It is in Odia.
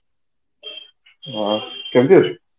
ଅ କେମିତି ଅଛୁ